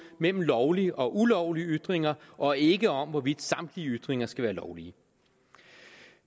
mellem lovlige og ulovlige ytringer og ikke om hvorvidt samtlige ytringer skal være lovlige